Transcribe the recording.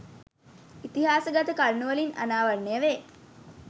ඉතිහාසගත කරුණුවලින් අනාවරණය වේ.